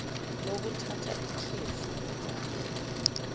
lokuthatha ikhefu ngokwale